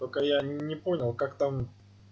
только я не понял как там